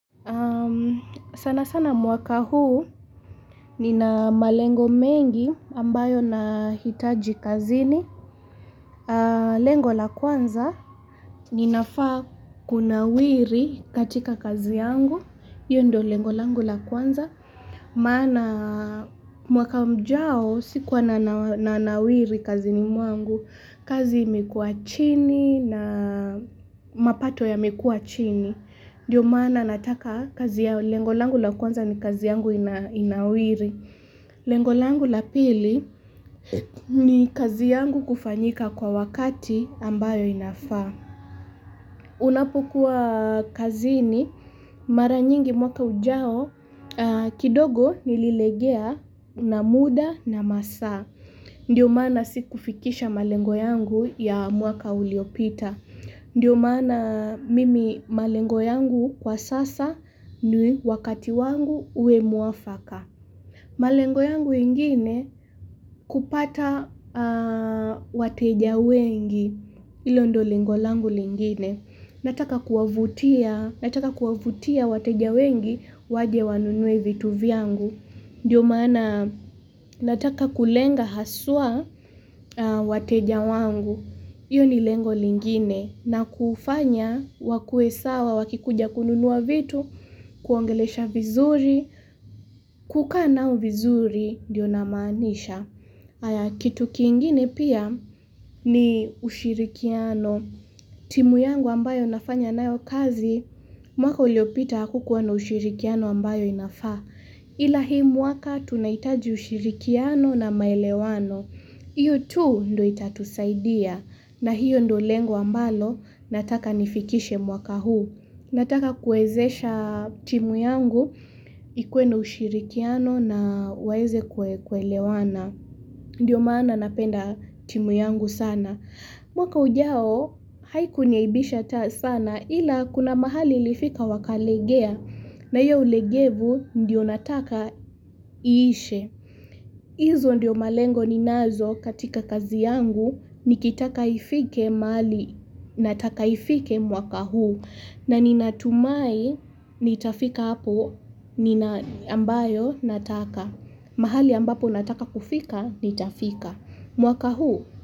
Sana sana mwaka huu nina malengo mengi ambayo nahitaji kazini. Lengo la kwanza ninafaa kunawiri katika kazi yangu. Hiyo ndio lengo langu la kwanza. Maana mwaka mjao sikuwa na nawiri kazini mwangu. Kazi imekuwa chini na mapato yamekuwa chini. Ndiyo maana nataka kazi ya lengo langu la kwanza ni kazi yangu inawiri. Lengo langu la pili ni kazi yangu kufanyika kwa wakati ambayo inafaa. Unapokuwa kazini mara nyingi mwaka ujao kidogo nililegea na muda na masaa. Ndiyo maana si kufikisha malengo yangu ya mwaka uliopita. Ndiyo maana mimi malengo yangu kwa sasa ni wakati wangu uwe mwafaka. Malengo yangu ingine kupata wateja wengi ilo ndio lengo langu lingine. Nataka kuwavutia wateja wengi waje wanunue vitu vyangu. Ndiyo maana nataka kulenga haswa wateja wangu. Iyo ni lengo lingine na kufanya wakuwe sawa wakikuja kununua vitu, kuwaongelesha vizuri, kukaa nao vizuri ndiyo namaanisha. Kitu kingine pia ni ushirikiano. Timu yangu ambayo nafanya nayo kazi, mwaka uliopita hakukuwa na ushirikiano ambayo inafaa. Ila hii mwaka tunahitaji ushirikiano na maelewano. Hiyo tu ndio itatusaidia na hiyo ndio lengo ambalo nataka nifikishe mwaka huu. Nataka kuwaezesha timu yangu ikuwe na ushirikiano na waweze kuelewana. Ndiyo maana napenda timu yangu sana. Mwaka ujao haikuniaibisha sana ila kuna mahali ilifika wakalegea na hiyo ulegevu ndiyo nataka iishe. Izo ndio malengo ninazo katika kazi yangu nikitaka ifike mahali nataka ifike mwaka huu na ni natumai nitafika hapo nina ambayo nataka. Mahali ambapo nataka kufika nitafika. Mwaka huu.